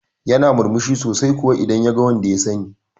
Yana murmushi sosai kuwa idan yaga wanda ya sani